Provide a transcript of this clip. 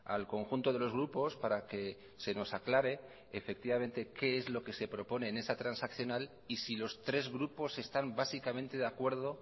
al conjunto de los grupos para que se nos aclare efectivamente qué es lo que se propone en esa transaccional y si los tres grupos están básicamente de acuerdo